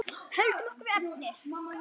Höldum okkur við efnið.